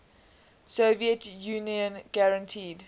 soviet union guaranteed